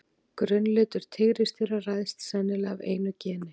Grunnlitur tígrisdýra ræðst sennilega af einu geni.